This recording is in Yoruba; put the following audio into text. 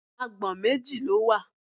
Agbọ̀n méjì ló wà.